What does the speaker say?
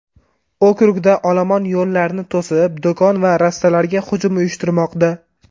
Okrugda olomon yo‘llarni to‘sib, do‘kon va rastalarga hujum uyushtirmoqda.